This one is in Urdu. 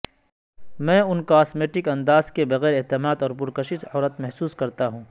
میں ان کاسمیٹک انداز کے بغیر اعتماد اور پرکشش عورت محسوس کرتا ہوں